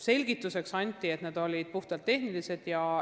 Selgituseks öeldi, et need põhjused olid puhtalt tehnilised.